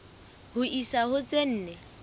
ho isa ho tse nne